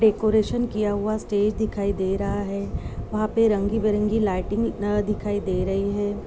Decoration किया हुआ stage दिखाई दे रहा है। वहाँ पे रंगी बिरंगी लाइटिंग अ दिखाई दे रहीं हैं।